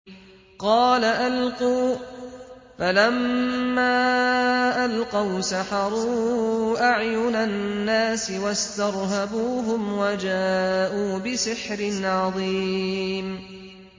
قَالَ أَلْقُوا ۖ فَلَمَّا أَلْقَوْا سَحَرُوا أَعْيُنَ النَّاسِ وَاسْتَرْهَبُوهُمْ وَجَاءُوا بِسِحْرٍ عَظِيمٍ